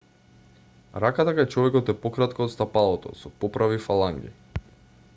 раката кај човекот е пократка од стапалото со поправи фаланги